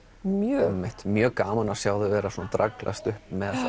mjög mjög gaman að sjá þau vera að draglast upp